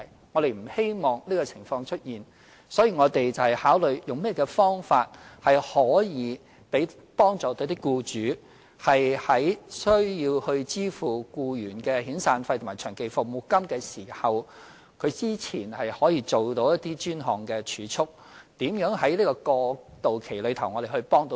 我們不希望出現這些情況，所以我們要考慮如何幫助僱主，以便他們在需要支付僱員的遣散費和長期服務金時，可動用之前所做的一些專項儲蓄來應付，我們也要考慮如何在過渡期幫助他們。